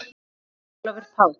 Sókn: Ólafur Páll